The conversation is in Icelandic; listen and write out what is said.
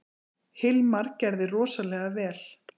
Hilmar gerði rosalega vel.